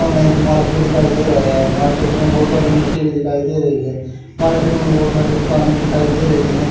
सामने एक मार्केट दिखाई दे रही है मार्केट में बहुत सारी मिट्टी भी दिखाई दे रही है मार्केट में बहुत सारी दुकानें दिखाई दे रही हैं।